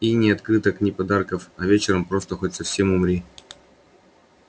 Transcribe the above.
и ни открыток ни подарков а вечером просто хоть совсем умри